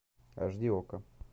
аш ди окко